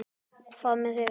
Hvað með þig?